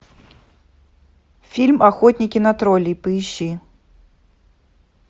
фильм охотники на троллей поищи